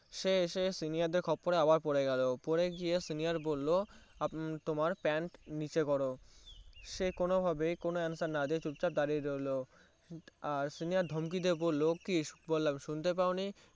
সে এসে Senior দেড় খপ্পরে আবার পরে গেলো পরে গিয়ে Senior বললো তোমার Pant নিচে করো সে কোনো ভাবে কোনো Answer না দিয়ে চুপটি করে চুপ চাপ দাঁড়িয়ে রইলো আর Senior ধমকি দিয়ে বললো কি বললাম শুনতে পায়নি